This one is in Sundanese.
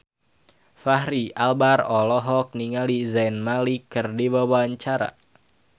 Fachri Albar olohok ningali Zayn Malik keur diwawancara